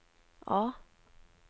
A